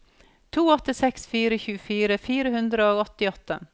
to åtte seks fire tjuefire fire hundre og åttiåtte